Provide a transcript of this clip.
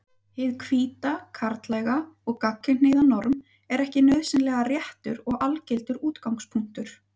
Hið hvíta, karllæga og gagnkynhneigða norm er ekki nauðsynlega réttur og algildur útgangspunktur.